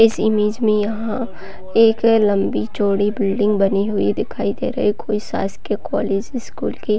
इस इमेज में यहाँ एक लंबी चौड़ी बिल्डिंग बनी हुई दिखाई दे रही कोई शाषकीय कॉलेज स्कूल के--